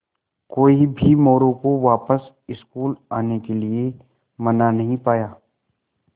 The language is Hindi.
कोई भी मोरू को वापस स्कूल आने के लिये मना नहीं पाया